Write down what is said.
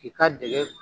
K'i ka dɛgɛ